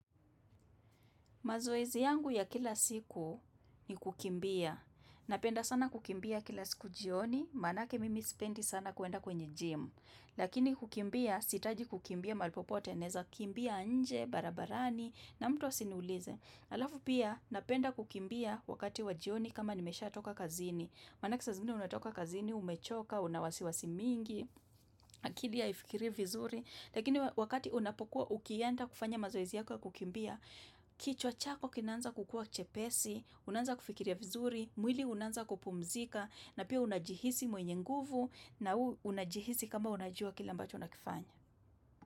Mazoezi yangu ya kila siku ni kukimbia. Napenda sana kukimbia kila siku jioni, manake mimi spendi sana kuenda kwenye gym. Lakini kukimbia sihitaji kukimbia mahali popote, naeza kukimbia nje, barabarani, na mtu asiniulize. Halafu pia, napenda kukimbia wakati wa jioni kama nimesha toka kazini. Maanake saa zingine unatoka kazini, umechoka, una wasiwasi mingi, akili haifikirii vizuri. Lakini wakati unapokuwa ukienda kufanya mazorzi yako kukimbia, kichwa chako kinaanza kukua chepesi, unanza kufikiria vizuri, mwili unaanza kupumzika, na pia unajihisi mwenye nguvu na unajihisi kama unajua kila ambacho unakifanya.